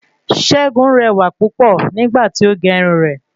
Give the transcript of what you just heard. Segun rẹwà púpọ̀ nígbà tí o gé irun rè